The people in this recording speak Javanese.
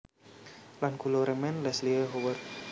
Lan kula remen Leslie Howard